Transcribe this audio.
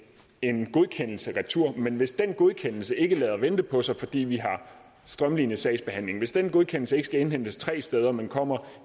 en godkendelse retur men hvis den godkendelse ikke lader vente på sig fordi vi har strømlinet sagsbehandlingen hvis den godkendelse ikke skal indhentes tre steder men kommer